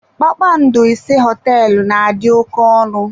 Kpakpando ise Họteelụ na-adị oké ọnụ.